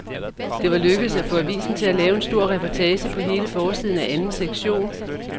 Det var lykkedes at få avisen til at lave en stor reportage på hele forsiden af anden sektion.